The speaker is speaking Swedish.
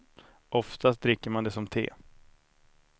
Oftast dricker man det som te.